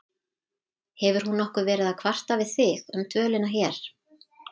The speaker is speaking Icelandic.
Hefur hún nokkuð verið að kvarta við þig um dvölina hér?